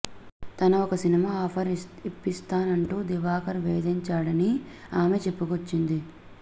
తన ఒక cinema offer ఇప్పిస్తానంటూ దివాకర్ వేధించాడని ఆమె చెప్పుకొచ్చింది